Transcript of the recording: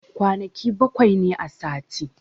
Kwanaki bakwai ne a sati.